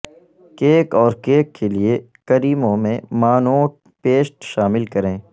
cake اور cake کے لئے کریموں میں مانوٹ پیسٹ شامل کریں